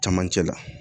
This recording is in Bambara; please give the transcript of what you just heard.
Camancɛ la